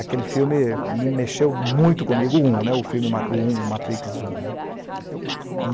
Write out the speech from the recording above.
Aquele filme me mexeu muito comigo, o um né, o filme o um né, o matrix um né. E